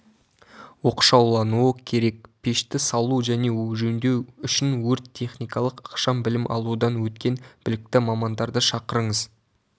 оқшаулануы керек пешті салу және жөндеу үшін өрт-техникалық ықшам білім алудан өткен білікті мамандарды шақырыңыз